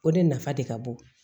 O de nafa de ka bon